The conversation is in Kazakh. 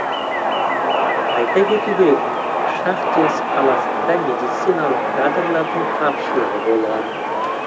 айта кету керек шахтинск қаласында медициналық кадрлардың тапшылығы болған